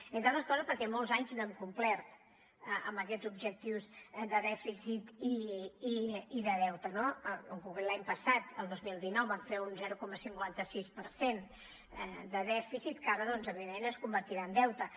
entre d’altres coses perquè molts anys no hem complert amb aquests objectius de dèficit i de deute no en concret l’any passat el dos mil dinou vam fer un zero coma cinquanta sis per cent de dèficit que ara doncs evidentment es convertirà en deute